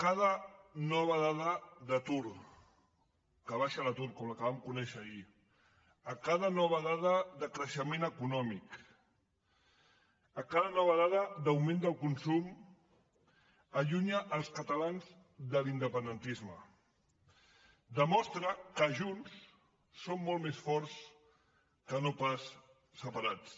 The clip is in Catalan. cada nova dada d’atur que baixa l’atur com la que vam conèixer ahir cada nova dada de creixement econòmic cada nova dada d’augment del consum allunyen els catalans de l’independentisme demostren que junts som molt més forts que no pas separats